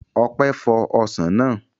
Ọpẹ́ fọ ọsàn náà